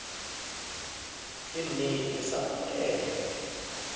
ke ne ke sa bolokeha